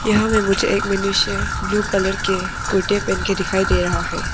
यहां में मुझे एक मनुष्य ब्लू कलर के कुर्ते पहन के दिखाई दे रहा है।